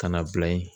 Ka na bila ye